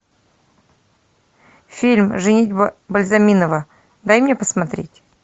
фильм женитьба бальзаминова дай мне посмотреть